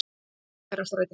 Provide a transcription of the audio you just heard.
Munkaþverárstræti